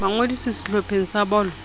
ba ngodise sehlopheng sa bolo